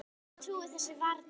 Ég trúi þessu varla